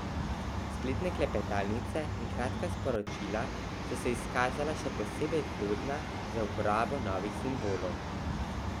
Spletne klepetalnice in kratka sporočila so se izkazala še posebej plodna za uporabo novih simbolov.